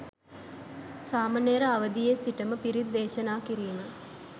සාමණේර අවදියේ සිටම පිරිත් දේශනා කිරීම